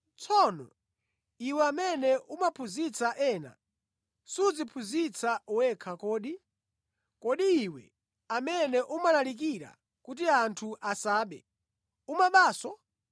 tsono, iwe amene umaphunzitsa ena, sudziphunzitsa wekha kodi? Kodi iwe amene umalalikira kuti anthu asabe, umabanso?